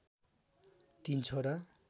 ३ छोरा